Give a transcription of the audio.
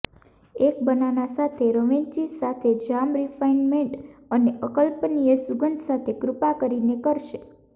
એક બનાના સાથે રેવંચી સાથે જામ રિફાઇનમેન્ટ અને અકલ્પનીય સુગંધ સાથે કૃપા કરીને કરશે